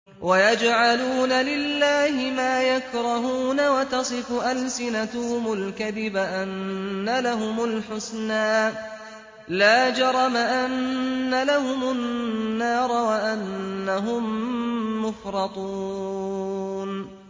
وَيَجْعَلُونَ لِلَّهِ مَا يَكْرَهُونَ وَتَصِفُ أَلْسِنَتُهُمُ الْكَذِبَ أَنَّ لَهُمُ الْحُسْنَىٰ ۖ لَا جَرَمَ أَنَّ لَهُمُ النَّارَ وَأَنَّهُم مُّفْرَطُونَ